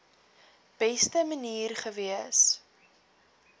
beste manier gewees